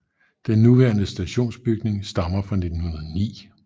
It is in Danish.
Den nuværende stationsbygning stammer fra 1909